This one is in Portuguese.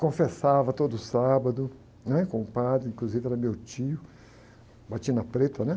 Confessava todo sábado, né? Com o padre, inclusive era meu tio, batina preta, né?